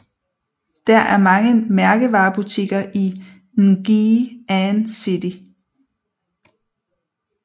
Der er mange mærkevarebutikker i Ngee Ann City